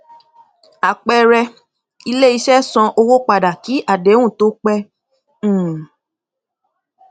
àpẹẹrẹ iléiṣẹ san owó padà kí àdéhùn tó pé um